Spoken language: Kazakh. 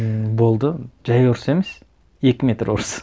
ііі болды жай ұрыс емес екі метр орыс